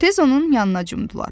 Tez onun yanına cumdular.